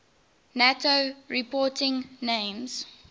nato reporting names